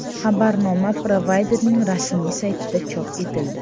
Xabarnoma provayderning rasmiy saytida chop etildi .